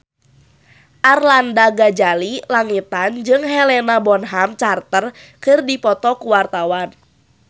Arlanda Ghazali Langitan jeung Helena Bonham Carter keur dipoto ku wartawan